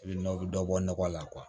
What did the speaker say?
I bɛ nɔ bɛ dɔ bɔ nɔgɔ la